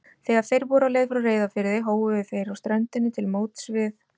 Þegar þeir voru á leið frá Reyðarfirði hóuðu þeir á ströndinni á móts við